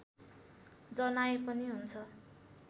जनाए पनि हुन्छ